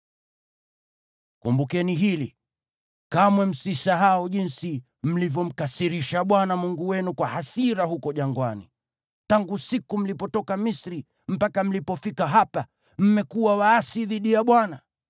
Kumbukeni hili, kamwe msisahau jinsi mlivyomkasirisha Bwana Mungu wenu kwa hasira huko jangwani. Tangu siku mlipotoka Misri mpaka mlipofika hapa, mmekuwa waasi dhidi ya Bwana .